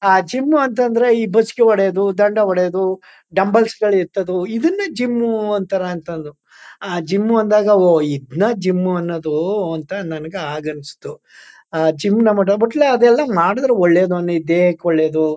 Gym ಅಂತ ಅಂದ್ರೆ ಬಸಿಗೆ ಹೊಡೆಯುವುದು ದಂಡ ಹೊಡೆಯುವುದು ಡಂಬಲ್ಸ್ ಗಳ ಎತ್ತೋದು ಇದನ್ನೇ ಜಿಮ್ಮು ಅಂತರ. ಅಂತಂದು ಆ ಜಿಮ್ ಅಂದಾಗ ಓ ಇದ್ನ ಜಿಮ್ಮು ಅನ್ನದು ಅಂತ ನನಗೆ ಆಗ ಅನಿಸ್ತು ಅದೆಲ್ಲ ಮಾಡಿದರೆ ಒಳ್ಳೆಯದು ದೇಹಕ್ಕೆ ಒಳ್ಳೆದು.